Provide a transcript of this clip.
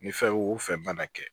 Ni fɛn o fɛn mana kɛ